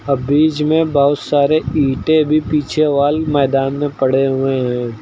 और बीच में बहुत सारे ईंटें भी पीछे वाली मैदान में पड़े हुए हैं।